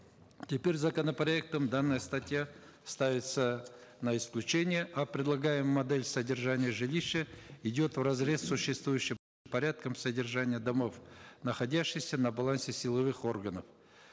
теперь законопроектом данная статья ставится на исключение а предлагаемая модель содержания жилища идет вразрез с существующим порядком содержания домов находящихся на балансе силовых органов